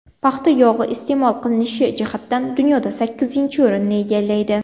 Paxta yog‘i iste’mol qilinishi jihatidan dunyoda sakkizinchi o‘rinni egallaydi.